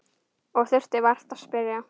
Og þurfti vart að spyrja.